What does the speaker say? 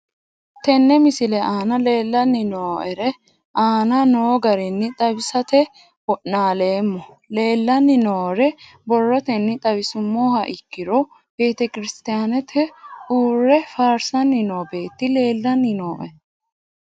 Tene misile aana leelanni nooerre aane noo garinni xawisate wonaaleemmo. Leelanni nooerre borrotenni xawisummoha ikkiro betekirisitiyaanete uure farsanni noo beeti leelanni nooe.